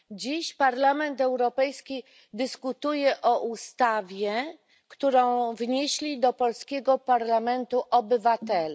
Dziś Parlament Europejski dyskutuje o ustawie, którą wnieśli do polskiego parlamentu obywatele.